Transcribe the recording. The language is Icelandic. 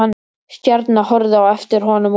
Stjarna horfði á eftir honum út.